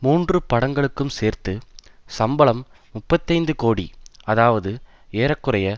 மூன்று படங்களுக்கும் சேர்த்து சம்பளம் முப்பத்தைந்து கோடி அதாவது ஏற குறைய